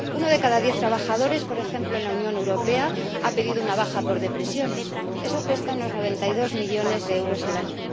Uno de cada diez trabajadores, por ejemplo, en la Unión Europea ha pedido una baja por depresión eso cuesta unos 92 millones de euros al año.